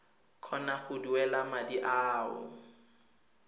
kgona go duela madi ao